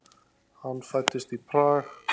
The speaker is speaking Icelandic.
Hann fæddist í Prag.